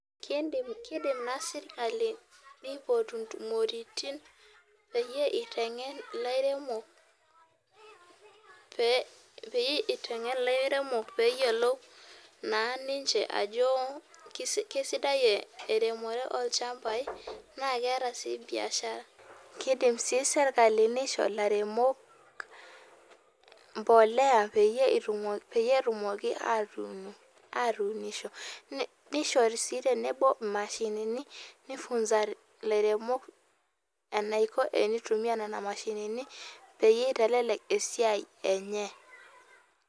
Kiidim naa sirkali piipotu ntumoritin pee iteng'en ilairemok pee eyiolou naa ninche ajo kesidai eremore olchambai naa keeta sii biashara, kiidim sii sirkali nisho ilairemok mbolea peyie etumoki aatuunisho nishori sii tenebo imashinini nifunza ilairemok enaiko tenitumia nena mashinini peyie itelelek esiai enye.